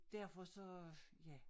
Derfor så ja